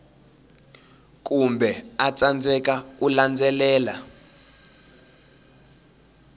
kumbe a tsandzeka ku landzelela